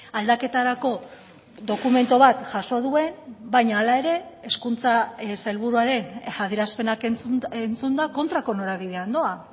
aldaketarako dokumentu bat jaso duen baina hala ere hezkuntza sailburuaren adierazpenak entzunda kontrako norabidean doa